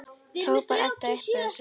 hrópar Edda upp yfir sig.